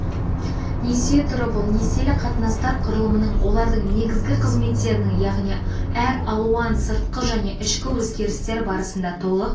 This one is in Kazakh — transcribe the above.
несие түрі бұл несиелік қатынастар құрылымының олардың негізгі қызметтерінің яғни әр алуан сыртқы және ішкі өзгерістер барысында толық